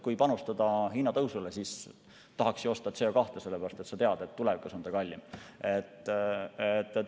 Kui panustada hinnatõusule, siis tahaks ju CO2 osta, sest sa tead, et tulevikus on see kallim.